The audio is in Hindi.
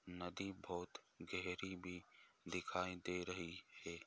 नदी बहुत गहरी भी दिखाई दे रही है।